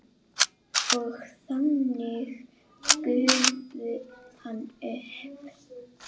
Og þannig gufi hann upp?